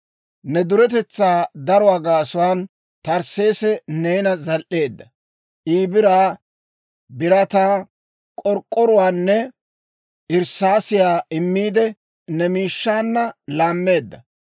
«‹ «Ne duretetsaa daruwaa gaasuwaan Tarsseesi neenana zal"eedda; I biraa, birataa, k'ork'k'oruwaanne irssaasiyaa immiide, ne miishshaanna laammeedda.